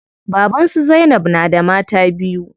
Baban su zainab na da mata biyu.